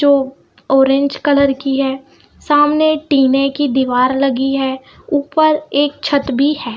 जो orange colour की है सामने टिने की दीवार लगी है ऊपर एक छत भी है।